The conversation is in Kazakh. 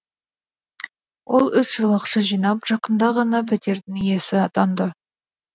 ол үш жыл ақша жинап жақында ғана пәтердің иесі атанды